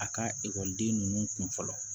A ka ekɔliden ninnu kun fɔlɔ